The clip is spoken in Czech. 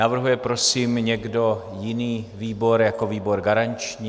Navrhuje prosím někdo jiný výbor jako výbor garanční?